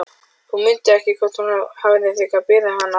Hún mundi ekki hvort hún hefði þegar beðið hann afsökunar.